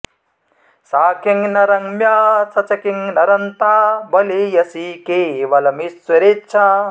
सा किं न रम्या स च किं न रन्ता बलीयसी केवलमीश्वरेच्छा